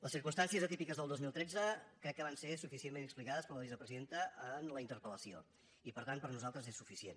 les circumstàncies atípiques del dos mil tretze crec que van ser suficientment explicades per la vicepresidenta en la interpel·lació i per tant per nosaltres és suficient